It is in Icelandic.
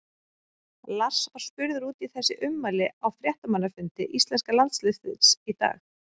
Lars var spurður út í þessi ummæli á fréttamannafundi íslenska landsliðsins í dag.